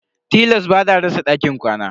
Tilas ba ta rasa dakin kwana.